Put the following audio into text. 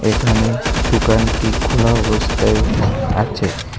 এখানে দোকানটি খোলা অবস্থায়ও থাক আছে।